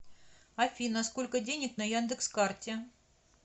афина сколько денег на яндекс карте